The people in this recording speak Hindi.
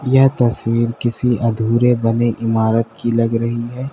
यह तस्वीर किसी अधूरे बने इमारत की लग रही है।